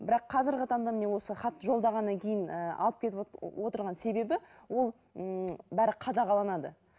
бірақ қазіргі таңда міне осы хатты жолдағаннан кейін ііі алып кетіп отырған себебі ол ыыы бәрі қадағаланады